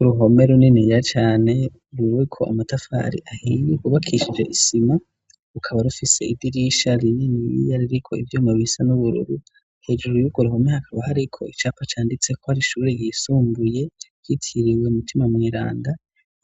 Uruhome runini ya cane ruwiko amatafari ahiye kubakishije isima ukaba rufise idirisha rinini iyari riko ivyuma bisa n'ubururu hejuru yuko ruhome hakaba hari ko icapa canditse ko hari ishuri yisumbuye yitiriwe umutima Mweranda